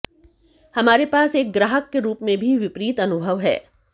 हमारे पास एक ग्राहक के रूप में भी विपरीत अनुभव है